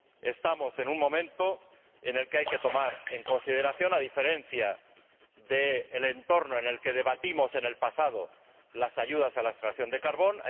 Estamos en un momento en el que hay que tomar en consideración, a diferencia del entorno en el que debatimos en el pasado, las ayudas a la extracción de carbón.